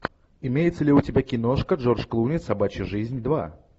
имеется ли у тебя киношка джордж клуни собачья жизнь два